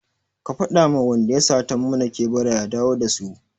Ka faɗa ma wanda ya sata mana kebura ya dawo da su!